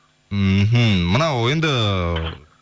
мхм мынау енді